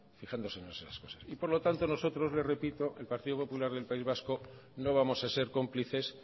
fijándose en esas cosas y por lo tanto nosotros el partido popular del país vasco no vamos a ser cómplices